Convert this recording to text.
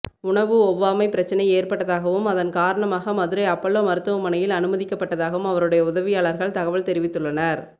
உணவு ஒவ்வாமை பிரச்னை ஏற்பட்டதாகவும் அதன் காரணமாக மதுரை அப்பல்லோ மருத்துவமனையில் அனுமதிக்கப்பட்டதாகவும் அவருடைய உதவியாளர்கள் தகவல் தெரிவித்துள்ளனர்